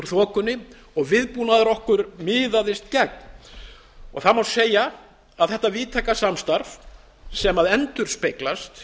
þokunni og viðbúnaður okkar miðaðist gegn það má segja að þetta víðtæka samstarf sem endurspeglast